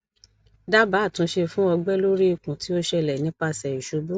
dabaa atunse fun ọgbẹ lori ikun ti o ṣẹlẹ nipase isubu